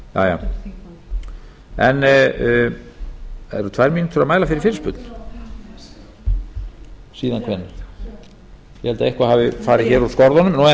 það eru tvær mínútur jæja eru tvær mínútur að mæla fyrir fyrirspurn síðan hvenær ég held að eitthvað hafi farið hér úr skorðum en ég